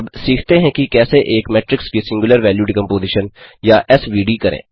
अब सीखते हैं कि कैसे एक मेट्रिक्स की सिंग्युलर वैल्यू डिकम्पोज़ीशन या एस व डी करें